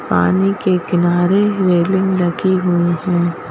पानी के किनारे रेलिंग लगी हुई हैं।